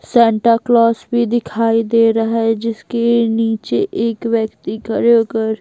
Santa Claus भी दिखाई दे रहा है जिसके नीचे एक व्यक्ति खड़े होकर--